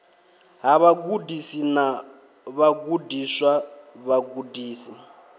ha vhagudisi na vhagudiswa vhagudisi